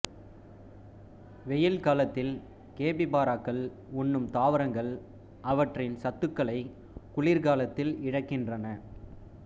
வெயில் காலத்தில் கேபிபாராக்கள் உண்ணும் தாவரங்கள் அவற்றின் சத்துக்களை குளிர்காலத்தில் இழக்கின்றன